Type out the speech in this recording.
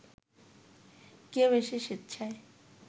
কেউ এসে স্বেচ্ছায়